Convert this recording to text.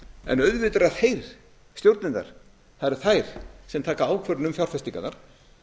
en auðvitað eru það þær stjórnirnar sem taka ákvörðun um fjárfestingarnar